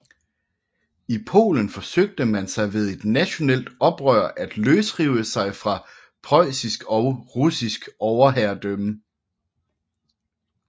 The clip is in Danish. I Polen forsøgte man sig ved et nationalt oprør at løsrive sig fra preussisk og russisk overherredømme